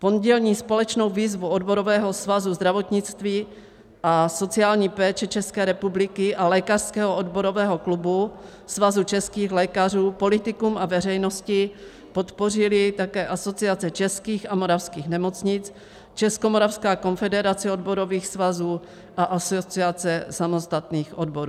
Pondělní společnou výzvu Odborového svazu zdravotnictví a sociální péče České republiky a Lékařského odborového klubu, Svazu českých lékařů politikům a veřejnosti podpořily také Asociace českých a moravských nemocnic, Českomoravská konfederace odborových svazů a Asociace samostatných odborů.